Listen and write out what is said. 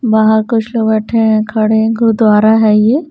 बाहर कुछ लोग बैठे हैं खड़े हैं गुरुद्वारा है यह--